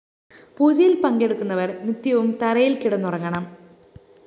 പൂജയില്‍ പങ്കെടുക്കുന്നവര്‍ നിത്യവും തറയില്‍ക്കിടന്നുറങ്ങണം